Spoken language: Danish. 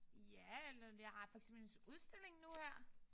Ja eller jeg har for eksempel en så udstilling nu her